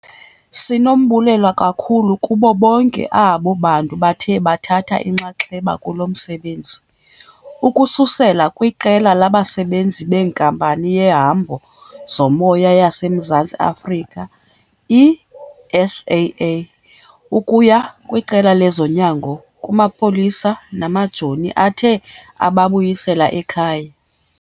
Sinombulelo kakhulu kubo bonke abo bantu bathe bathatha inxaxheba kulo msebenzi, ukususela kwiqela labasebenzi beNkampani yeHambo zoMoya yaseMzantsi Afrika, i-SAA, ukuya kwiqela lezonyango, kumapolisa namajoni athe ababuyisela ekhaya.